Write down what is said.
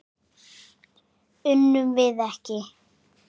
Unnum við ekki?